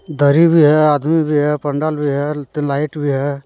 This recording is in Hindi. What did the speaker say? दरी भी है आदमी भी है पंडाल भी है त लाइट भी है।